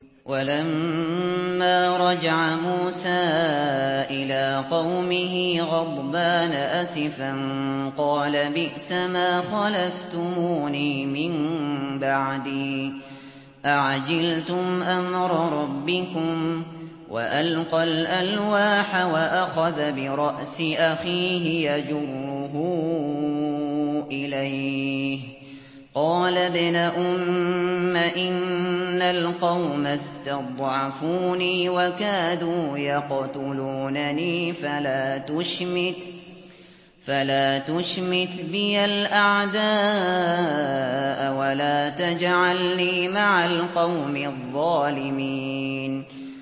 وَلَمَّا رَجَعَ مُوسَىٰ إِلَىٰ قَوْمِهِ غَضْبَانَ أَسِفًا قَالَ بِئْسَمَا خَلَفْتُمُونِي مِن بَعْدِي ۖ أَعَجِلْتُمْ أَمْرَ رَبِّكُمْ ۖ وَأَلْقَى الْأَلْوَاحَ وَأَخَذَ بِرَأْسِ أَخِيهِ يَجُرُّهُ إِلَيْهِ ۚ قَالَ ابْنَ أُمَّ إِنَّ الْقَوْمَ اسْتَضْعَفُونِي وَكَادُوا يَقْتُلُونَنِي فَلَا تُشْمِتْ بِيَ الْأَعْدَاءَ وَلَا تَجْعَلْنِي مَعَ الْقَوْمِ الظَّالِمِينَ